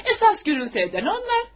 Əsas səs-küy salan onlar.